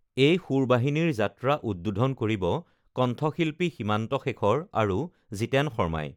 এই সুৰ বাহিনীৰ যাত্ৰা উদ্বোধন কৰিব কণ্ঠশিল্পী সীমান্ত শেখৰ আৰু জিতেন শৰ্মাই